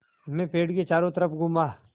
मैं पेड़ के चारों तरफ़ घूमा